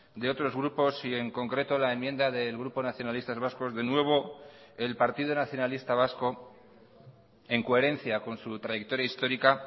de otros grupos y en concreto la enmienda del grupo nacionalistas vascos de nuevo el partido nacionalista vasco en coherencia con su trayectoria histórica